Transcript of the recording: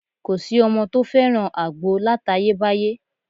Kò sí ọmọ tó fẹ́ràn àgbo látayébáyé